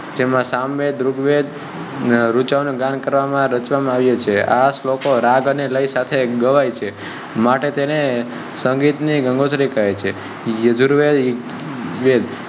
તેમાં સામવેદ ઋગ્વેદ ઋચા ઓ ના ગાન કરવામાં રચવા ના આવે છે આ શ્લોકો રાગ અને લય સાથે ગવાય છે માટે તેને સંગીત ની ગંગોત્રી કહે છે યજુર્વેદ વેદ